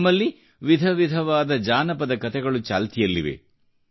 ನಮ್ಮಲ್ಲಿ ವಿಧ ವಿಧವಾದ ಜಾನಪದ ಕತೆಗಳು ಚಾಲ್ತಿಯಲ್ಲಿವೆ